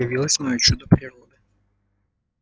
явилось моё чудо природы